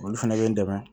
Olu fɛnɛ bɛ n dɛmɛ